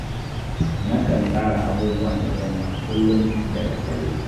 Nakan tsara abubuwan da zan yi a kullum da daddare